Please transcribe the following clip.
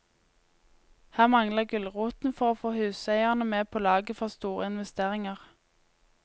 Her mangler gulroten for å få huseierne med på laget for store investeringer.